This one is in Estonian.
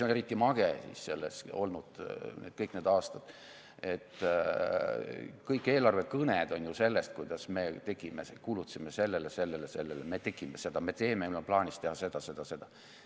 Eriti mage siis selles on see, et kõik need aastad on eelarvekõned olnud sellest, kuidas me tegime, kulutasime sellele-sellele-sellele, me tegime seda, me teeme, meil on plaanis teha seda-seda-seda.